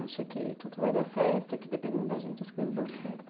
Acha que tudo vai dar certo, que dependendo da gente as coisas dão certo.